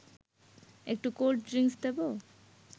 একটু cold drinks দেব